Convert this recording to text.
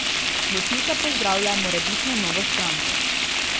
Desnica pozdravlja morebitno novo stranko.